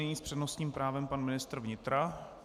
Nyní s přednostním právem pan ministr vnitra.